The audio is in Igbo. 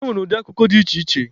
E nwere ụdị akụkọ dị iche iche.